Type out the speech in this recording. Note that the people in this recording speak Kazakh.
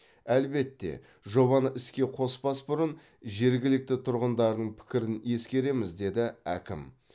әлбетте жобаны іске қоспас бұрын жергілікті тұрғындардың пікірін ескереміз деді әкім